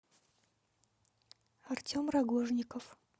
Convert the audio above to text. артем рогожников